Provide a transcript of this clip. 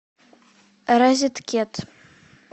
розеткед